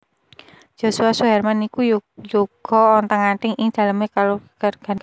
Joshua Suherman niku yuga ontang anting ing dalem e kaluwarganipun